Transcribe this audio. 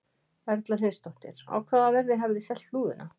Erla Hlynsdóttir: Á hvaða verði hafið þið selt lúðuna?